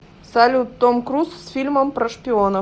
салют том круз с фильмом про шпионов